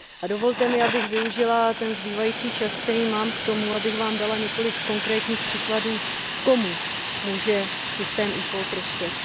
Dovolte mi, abych využila ten zbývající čas, který mám, k tomu, abych vám dala několik konkrétních příkladů, komu může systém eCall prospět.